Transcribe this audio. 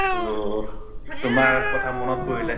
তʼ তোমাৰ কথা মনত পৰিলে।